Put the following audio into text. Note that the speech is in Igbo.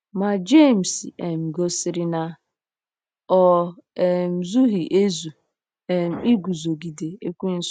Ma Jemis um gosiri na o um zughị ezu ' um iguzogide Ekwensu. '